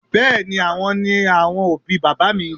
Bẹ́ẹ́ni, àwọn ni àwọn òbí bàbá mi